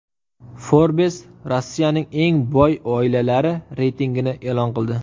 Forbes Rossiyaning eng boy oilalari reytingini e’lon qildi.